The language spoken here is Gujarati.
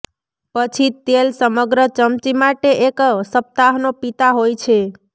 પછી તેલ સમગ્ર ચમચી માટે એક સપ્તાહનો પીતા હોય છે